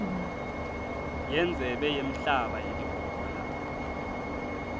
yendzebe yemhlaba yelibhola